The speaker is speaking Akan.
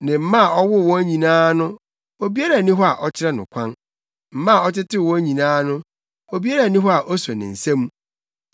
Ne mma a ɔwoo wɔn nyinaa no obiara nni hɔ a ɔkyerɛ no kwan; mma a ɔtetew wɔn nyinaa no obiara nni hɔ a oso ne nsa mu.